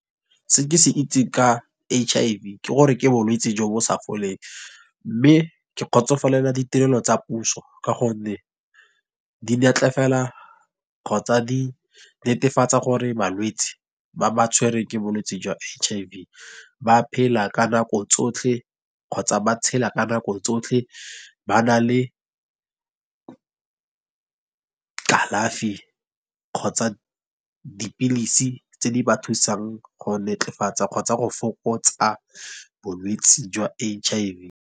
Se ke se itseng ka H_I_V, ke gore ke bolwetse jo bo sa foleng. Mme ke kgotsofalela ditirelo tsa puso, ka gonne di kgotsa di netefatsa gore malwetsi, ba ba tshwereng ke bolwetse jwa H_I_V. Ba phela ka nako tsotlhe kgotsa ba tshela ka nako tsotlhe ba na le kalafi kgotsa dipilisi tse di ba thusang go kgotsa go fokotsa bolwetse jwa H_I_V.